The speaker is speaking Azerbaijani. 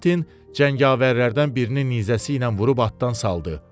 Kventin cəngavərlərdən birinin nizəsi ilə vurub atdan saldı.